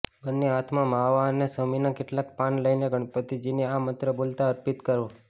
બંને હાથમાં માવા અને શમીના કેટલાક પાન લઈને ગણપતિજીની આ મંત્ર બોલતા અર્પિત કરો